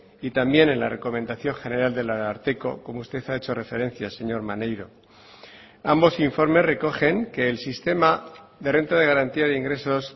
y también en la recomendación general del ararteko como usted ha hecho referencia señor maneiro ambos informes recogen que el sistema de renta de garantía de ingresos